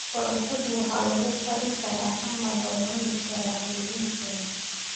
Karootadu waxay lagu karin karaan ama lagu cunaa cayriin salad.